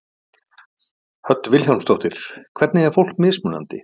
Hödd Vilhjálmsdóttir: Hvernig er fólk mismunandi?